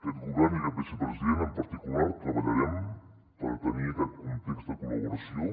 aquest govern i aquest vicepresident en particular treballarem per tenir aquest context de col·laboració